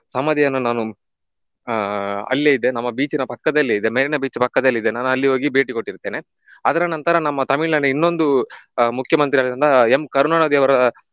ಸಮಾಧಿಯನ್ನು ನಾನು ಆಹ್ ಅಲ್ಲೆ ಇದೆ ನಮ್ಮ beach ಇನ ಪಕ್ಕದಲ್ಲೇ ಇದೆ Marina Beach ಪಕ್ಕದಲ್ಲಿ ಇದೆ ನಾನ್ ಅಲ್ಲಿ ಹೋಗಿ ಭೇಟಿ ಕೊಟ್ಟಿರುತ್ತೇನೆ. ಅದರ ನಂತರ ನಮ್ಮ ತಮಿಳುನಾಡಿನ ಇನ್ನೊಂದು ಆಹ್ ಮುಖ್ಯಮಂತ್ರಿಯಾದಂತಹ M. ಕರುಣಾನಿಧಿ ಅವರ